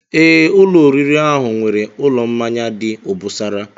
Ee, ụlọ oriri ahụ nwere ụlọ mmanya dị obosara